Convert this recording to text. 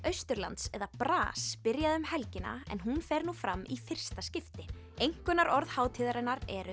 Austurlands eða byrjaði um helgina en hún fer nú fram í fyrsta skipti einkunnarorðin hátíðarinnar eru